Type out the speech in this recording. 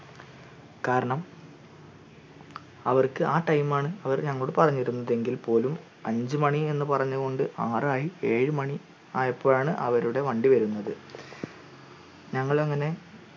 കാരണം അവർക് ആ time ആണ് അവർ ഞങ്ങളോട് പറഞ്ഞത് എങ്കിൽ പോലും അഞ്ചു മാണി എന്ന് പറഞ്ഞു കൊണ്ട് ആറ് ആയി ഏഴ് മാണി ആയപ്പോഴാണ് അവരുടെ വണ്ടി വരുന്നത് ഞങ്ങൾ അങ്ങനെ